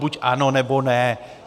Buď ano, nebo ne.